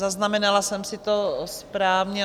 Zaznamenala jsem si to správně?